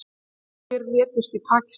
Tugir létust í Pakistan